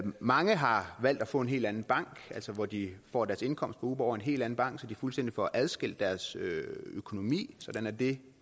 mange har valgt at få en helt anden bank altså hvor de får deres indkomst fra uber over en helt anden bank så de fuldstændig får adskilt deres økonomi sådan at det